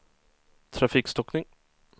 trafikstockning